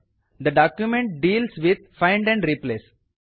the document deals with find and replace